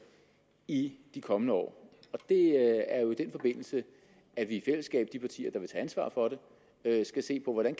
i de kommende år det er jo i den forbindelse at vi i fællesskab de partier der vil ansvar for det skal se på hvordan